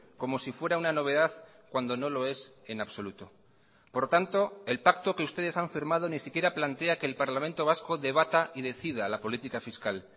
como si fuera una novedad cuando no lo es en absoluto por tanto el pacto que ustedes han firmado ni siquiera plantea que el parlamento vasco debata y decida la política fiscal